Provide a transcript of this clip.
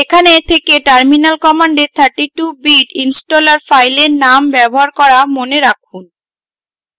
এখানে থেকে terminal commands 32 bit installer ফাইলের নাম ব্যবহার করা মনে রাখুন